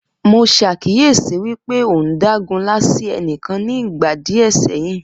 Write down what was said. Mo ṣàkíyesi wípé ọ uhn dágunlá sí ẹnìkan ni ìgbà díè sẹyìn